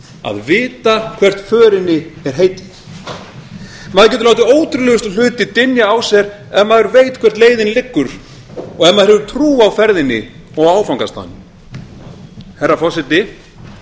að vita hvert förinni er heitið maður getur látið ótrúlegustu hluti dynja á sér ef maður veit hvert leiðin liggur og ef maður hefur trú á ferðinni og áfangastaðnum herra forseti